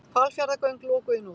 Hvalfjarðargöng lokuð í nótt